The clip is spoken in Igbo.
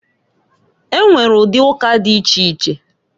E nwere ụdị ụka dị iche iche.